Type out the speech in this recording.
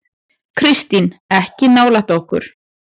Kristín: Ekki nálægt okkur.